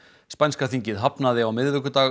spænska þingið hafnaði á miðvikudag